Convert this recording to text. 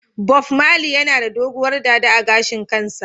Bob marley yana da doguwar dada a gashin kansa.